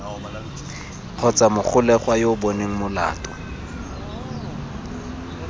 kgotsa mogolegwa yo bonweng molato